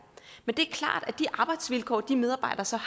men det er klart at de arbejdsvilkår de medarbejdere så